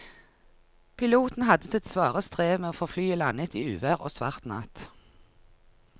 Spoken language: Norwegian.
Piloten hadde sitt svare strev med å få landet flyet i uvær og svart natt.